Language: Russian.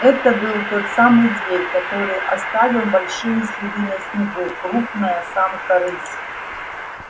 это был тот самый зверь который оставил большие следы на снегу крупная самка рысь